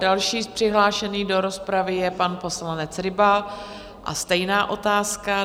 Další přihlášený do rozpravy je pan poslanec Ryba, a stejná otázka?